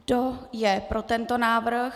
Kdo je pro tento návrh?